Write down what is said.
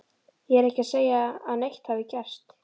Ég er ekki að segja að neitt hafi gerst.